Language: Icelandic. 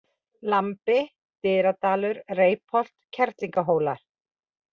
Lambi, Dyradalur, Reipholt, Kerlingarhólar